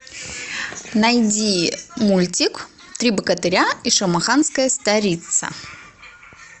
найди мультик три богатыря и шамаханская царица